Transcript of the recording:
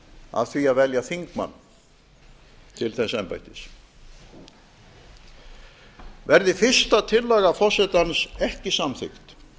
af því að velja þingmann til þess embættis verði fyrsta tillaga forsetans ekki samþykkt